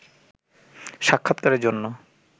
সাক্ষাৎকারের জন্য